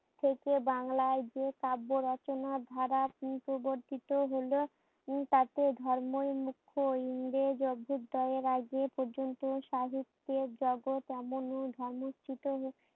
থেকে বাংলায় যে কাব্য রচনার ধারার প্রবর্তিত হলে উম তাতে ধর্মই মুখ্যই ইংরেজ অভ্যুদয়ের আগে পর্যন্ত সাহিত্যের জগৎ এমন ধর্মরচিত